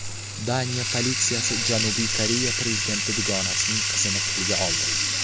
Daniya politsiyasi Janubiy Koreya prezidenti dugonasining qizini qo‘lga oldi.